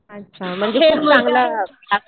अच्छा. म्हणजे खूप चांगला क्लास आहे.